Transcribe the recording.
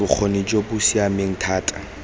bokgoni jo bo siameng thata